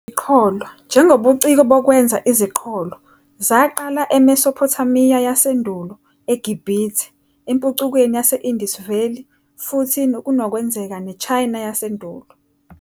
Iziqholo, njengobuciko bokwenza iziqholo, zaqala eMesophothamiya yasendulo, eGibhithe, empucukweni yase-Indus Valley futhi ngokunokwenzeka neChina Yasendulo.